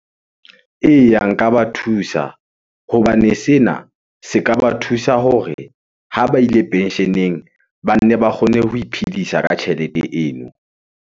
Eya, nka ba thusa hobane sena se ka ba thusa hore ha ba ile pensheneng. Ba nne ba kgone ho iphedisa ka tjhelete eno.